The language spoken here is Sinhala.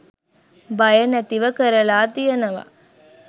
බය නැතිව කරලා තියෙනවා.